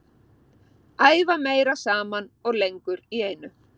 Æfa meira saman og lengur í einu.